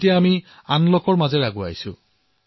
আমি এতিয়া আনলকৰ পৰ্যায়ত আছো